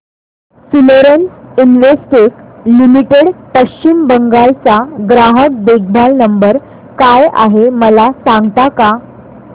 Florence Investec limited Paschim Bangal चा ग्राहक देखभाल नंबर काय आहे मला सांगता का